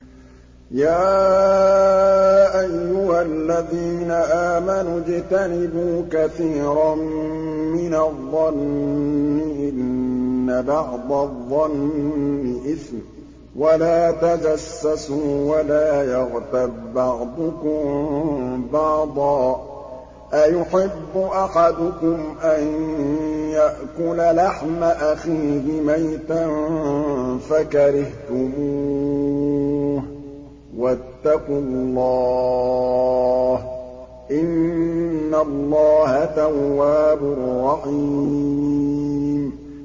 يَا أَيُّهَا الَّذِينَ آمَنُوا اجْتَنِبُوا كَثِيرًا مِّنَ الظَّنِّ إِنَّ بَعْضَ الظَّنِّ إِثْمٌ ۖ وَلَا تَجَسَّسُوا وَلَا يَغْتَب بَّعْضُكُم بَعْضًا ۚ أَيُحِبُّ أَحَدُكُمْ أَن يَأْكُلَ لَحْمَ أَخِيهِ مَيْتًا فَكَرِهْتُمُوهُ ۚ وَاتَّقُوا اللَّهَ ۚ إِنَّ اللَّهَ تَوَّابٌ رَّحِيمٌ